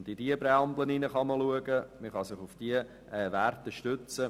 Man kann deren Präambel anschauen und sich auf diese Werte stützen.